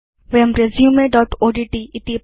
वयं resumeओड्ट्